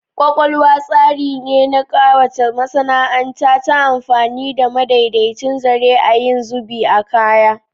Embroidery is the process of adorning fabric using with threaded designs